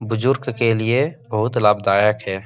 बुजुर्ग के लिए बहुत लाभदायक है ।